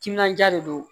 Timinandiya de don